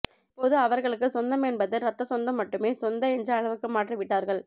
இப்போது அவர்களுக்கு சொந்தம் என்பது ரத்த சொந்தம் மட்டுமே சொந்த என்ற அளவுக்கு மாற்றிவிட்டார்கள்